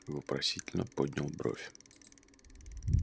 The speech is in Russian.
вопросительно поднял бровь